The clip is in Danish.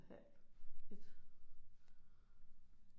Halv et